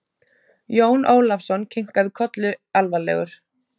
Jón Ólafsson kinkaði kolli alvarlegur.